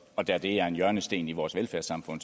og da de er en hjørnesten i vores velfærdssamfund